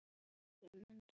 Elsku, elsku afi minn.